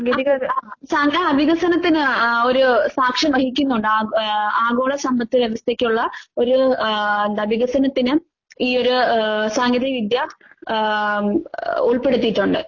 വികസനത്തിന് അഹ് ഒരു സാക്ഷ്യം വഹിക്കുന്നൊണ്ട് ആഗ് ആഹ് ആഗോള സാമ്പത്തിക വ്യവസ്ഥയ്ക്കൊള്ള ഒരു ആഹ് എന്താ വികസനത്തിന് ഈയൊരു ഏ സാങ്കേതിക വിദ്യ ആഹ് ഉൾപ്പെടുത്തീട്ടൊണ്ട്.